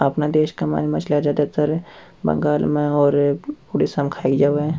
अपने देश में ज्यादातर मछलिया बंगाल में और उड़ीसा में खाई जावे है।